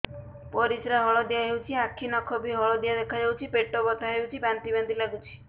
ପରିସ୍ରା ହଳଦିଆ ହେଉଛି ଆଖି ନଖ ବି ହଳଦିଆ ଦେଖାଯାଉଛି ପେଟ ବଥା ହେଉଛି ବାନ୍ତି ବାନ୍ତି ଲାଗୁଛି